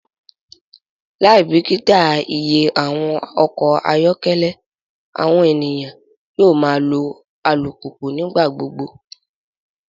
Laibikita iye awọn ọkọ ayọkẹlẹ, awọn eniyan yoo ma lo alupupu nigbagbogbo